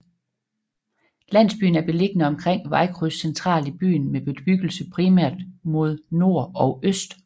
Landsbyen er beliggende omkring vejkryds centralt i byen med bebyggelse primært mod nord og øst